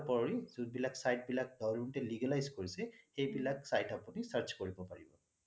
তাৰ উপৰি যোন বিলাক site বিলাক government এই legalised কৰিছে সেইবিলাক site আপুনি search কৰিব পাৰিব